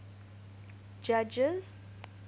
judges